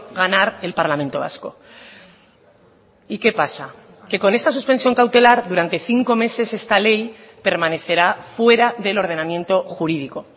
ganar el parlamento vasco y qué pasa que con esta suspensión cautelar durante cinco meses esta ley permanecerá fuera del ordenamiento jurídico